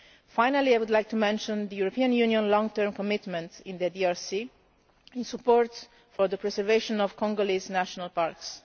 Finally, I would like to mention the European Union's long term commitment in the DRC to supporting the preservation of Congolese national parks.